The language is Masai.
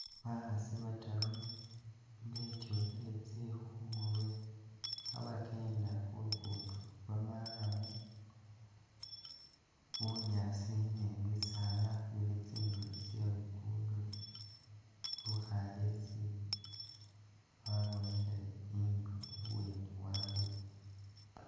Bakhaasi bataru betyukhile tsikhu khumurwe kha'bakenda khu lukudo lwo marrum, bunyaasi ni bisaala bili tsindulo tsye lukudo, lukhalesi lwabonekhele inyu ibweni wabwe